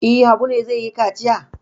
E, Habu ne zai yi kaciya.